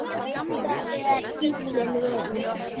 Þetta er bíllinn minn